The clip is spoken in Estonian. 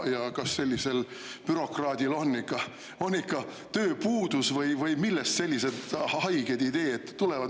Ja kas sellisel bürokraadil on ikka tööpuudus või millest sellised haiged ideed tulevad?